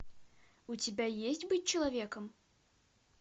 у тебя есть быть человеком